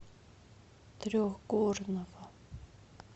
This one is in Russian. трехгорного